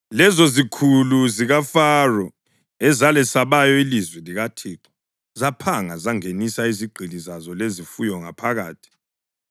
Lezozikhulu zikaFaro ezalesabayo ilizwi likaThixo zaphanga zangenisa izigqili zazo lezifuyo ngaphakathi.